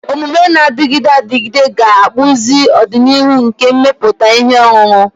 Omume na-adịgide adịgide ga-akpụzi ọdịnihu nke mmepụta ihe ọṅụṅụ.